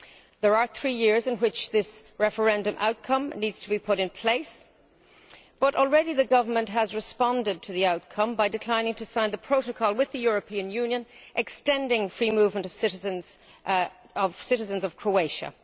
There are three years in which this referendum outcome needs to be put in place, but already the Government has responded to the outcome by declining to sign the protocol with the European Union extending free movement to citizens of Croatia.